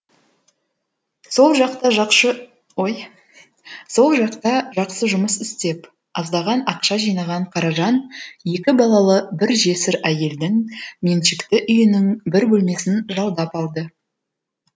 сол жақта сол жақта жақсы жұмыс істеп аздаған ақша жинаған қаражан екі балалы бір жесір әйелдің меншікті үйінің бір бөлмесін жалдап алды